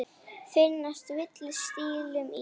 Finnast villur stílum í.